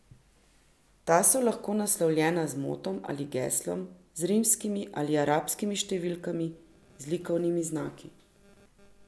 Ta so lahko naslovljena z motom ali geslom, z rimskimi ali arabskimi številkami, z likovnimi znaki ...